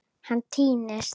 Hann týnist.